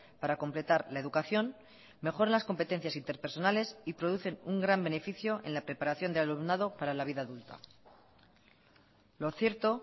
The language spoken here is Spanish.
para completar la educación mejoran las competencias interpersonales y producen un gran beneficio en la preparación del alumnado para la vida adulta lo cierto